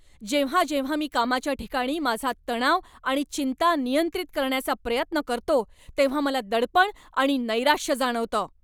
जेव्हा जेव्हा मी कामाच्या ठिकाणी माझा तणाव आणि चिंता नियंत्रित करण्याचा प्रयत्न करतो तेव्हा मला दडपण आणि नैराश्य जाणवतं.